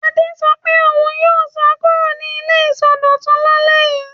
Adé sọ pé òun yóò sá kúrò ní ilé ìsọdọ̀tun lálẹ́ yìí.